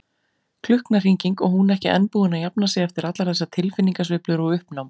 Klukknahringing, og hún ekki enn búin að jafna sig eftir allar þessar tilfinningasveiflur og uppnám.